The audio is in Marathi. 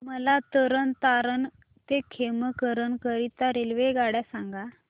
मला तरण तारण ते खेमकरन करीता रेल्वेगाड्या सांगा